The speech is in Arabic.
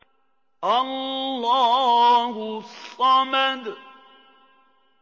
اللَّهُ الصَّمَدُ